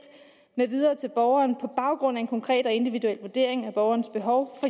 med videre til en borger på baggrund af en konkret og individuel vurdering af borgerens behov